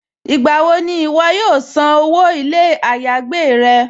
Nígbàwọ̀ ni iwọ̀ yóò sàn owó ilẹ̀-ayégbè rẹ̀?